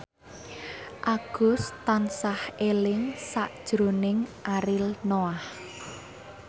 Agus tansah eling sakjroning Ariel Noah